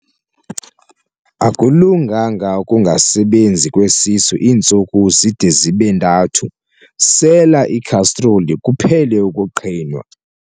Akulunganga ukungasebenzi kwesisu iintsuku zide zibe ntathu, sela ikhastroli kuphele ukuqhinwa.